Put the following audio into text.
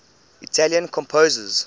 italian composers